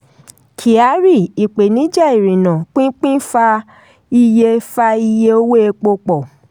kyari: ìpèníjà ìrìnà/pínpín fa iye fa iye owó epo pọ̀.